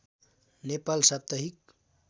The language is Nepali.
नेपाल साप्ताहिक